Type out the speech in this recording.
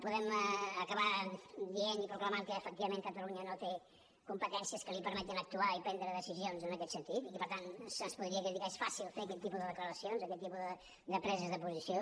podem acabar dient i proclamant que efectivament catalunya no té competències que li permetin actuar i prendre decisions en aquest sentit i que per tant se’ns podria criticar és fàcil fer aquest tipus de declaracions aquest tipus de preses de posició